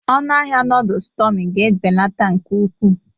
Ọnụ ahịa noodles Tummy ga-ebelata nke ukwuu